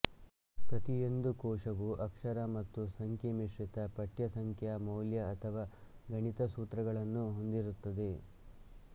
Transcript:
ಪ್ರತಿಯೊಂದು ಕೋಶವೂ ಅಕ್ಷರ ಮತ್ತು ಸಂಖ್ಯೆ ಮಿಶ್ರಿತ ಪಠ್ಯ ಸಂಖ್ಯಾ ಮೌಲ್ಯ ಅಥವಾ ಗಣಿತ ಸೂತ್ರಗಳನ್ನೂ ಹೊಂದಿರುತ್ತದೆ